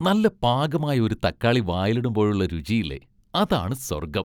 നല്ല പാകമായ ഒരു തക്കാളി വായിലിടുമ്പോഴുള്ള രുചിയില്ലേ, അതാണ് സ്വർഗം.